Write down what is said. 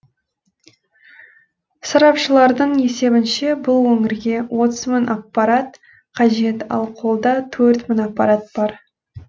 сарапшылардың есебінше бұл өңірге отыз мың аппарат қажет ал қолда төрт мың аппарат бар